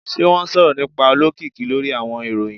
Ṣe wọn sọrọ nipa olokiki lori awọn iroyin?